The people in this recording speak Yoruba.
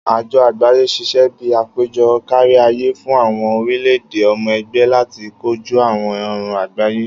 Ajo Agbaye ṣiṣẹ bi apejọ kariaye fun awọn orilẹ-ede ọmọ ẹgbẹ lati koju awọn ọran agbaye.